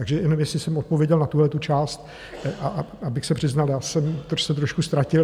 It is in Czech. Takže jenom, jestli jsem odpověděl na tuhle část, a abych se přiznal, já jsem se trošku ztratil.